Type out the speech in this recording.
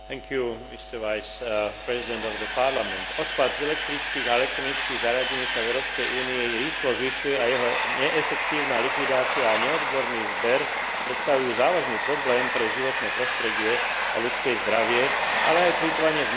Odpad z elektrických a elektronických zariadení sa v Európskej únii rýchlo zvyšuje a jeho neefektívna likvidácia a neodborný zber predstavujú závažný problém pre životné prostredie a ľudské zdravie, ale aj plytvanie s materiálom a zdrojmi, ktoré nie sú neobmedzené.